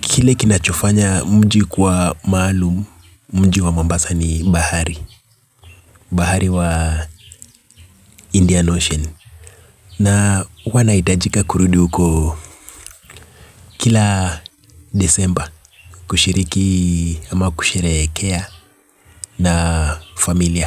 kile kinachofanya mji kwa maalum mji wa mombasa ni bahari bahari wa Indian Ocean na uanaitajika kurudi uko kila desemba kushiriki ama kushereekea na familia.